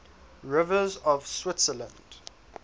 rivers of switzerland